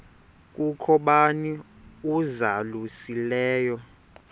kukho bani uzalusileyo